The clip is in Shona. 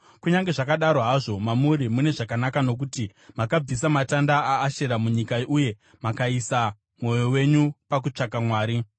Kunyange zvakadaro hazvo, mamuri mune zvakanaka nokuti makabvisa matanda aAshera munyika uye makaisa mwoyo wenyu pakutsvaka Mwari.”